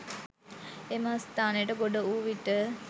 එම ස්ථානයට ගොඩ වූ විට